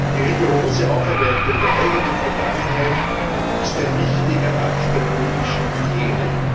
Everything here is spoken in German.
Die rigorose Aufarbeitung der eigenen Vergangenheit ist ein wichtiger Akt der politischen Hygiene.